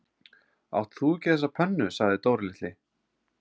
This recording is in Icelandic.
Átt þú ekki þessa pönnu? sagði Dóri litli.